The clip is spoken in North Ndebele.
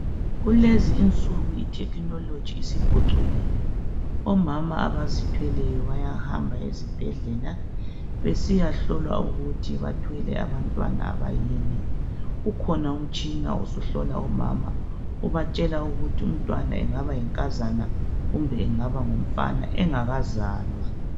Kulezi insuku ithekhinoloji isiphucukile. Omama abazithweleyo bayahamba ezibhedlela besiyahlolwa ukuthi bathwele abantwana abayini. Kukhona umtshina osuhlola omama ubatshela ukuba umntwana engaba yinkazana kumbe engaba ngumfana engakazalwa.